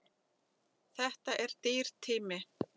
Þetta er dýr tími.